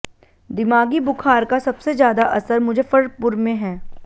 दिमागी बुखार का सबसे ज्यादा असर मुजफ्फरपुर में हैं